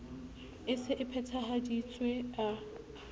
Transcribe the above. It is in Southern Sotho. e se e phethahaditswe a